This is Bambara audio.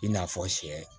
I n'a fɔ sɛ